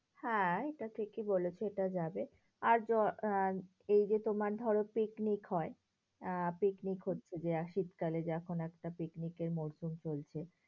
হ্যাঁ, এটা ঠিকই বলেছো এটা যাবে। আর এই যে তোমার ধরো পিকনিক হয়, আহ পিকনিক হচ্ছে যে শীতকালে যে এখন একটা পিকনিক এর মরশুম চলছে,